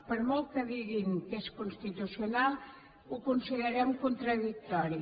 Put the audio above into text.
per molt que diguin que és constitucional ho considerem contradictori